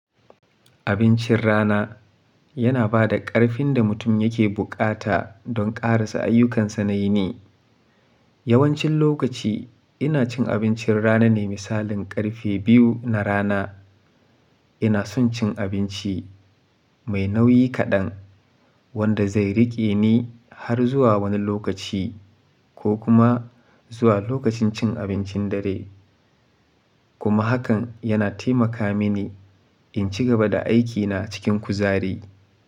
Abincin rana yana ba da ƙarfin da mutum yake buƙata don karasa ayyukansa na yini. Yawancin lokaci ina cin abincin rana ne misalin ƙarfe biyu na rana. Ina son cin abinci mai nauyi kaɗan wanda zai riƙe ni har zuwa wani lokaci ko kuma zuwa lokacin cin abincin dare. Kuma hakan yana taimaka mini in ci gaba da aikina cikin kuzari.